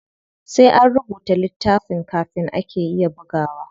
Sai an rubuta littafin kafin ake iya bugawa.